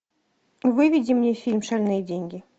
выведи мне фильм шальные деньги